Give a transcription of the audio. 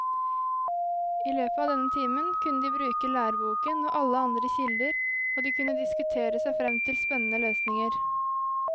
I løpet av denne timen kunne de bruke læreboken og alle andre kilder, og de kunne diskutere seg frem til spennende løsninger.